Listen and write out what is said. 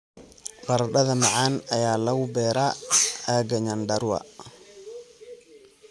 Baradhada macaan ayaa lagu beeraa aagga Nyandarua.